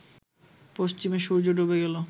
পশ্চিমে সূর্য ডুবে গেলে